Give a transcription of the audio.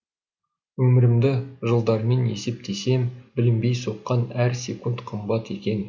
өмірімді жылдармен есептесем білінбей соққан әр секунд қымбат екен